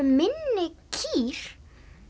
minni kýr